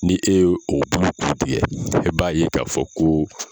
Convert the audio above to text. Ni e ye o bulu kun tigɛ e b'a ye k'a fɔ ko